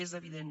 és evident